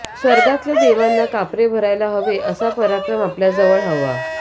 स्वर्गातल्या देवांना कापरे भरायला हवे असा पराक्रम आपल्याजवळ हवा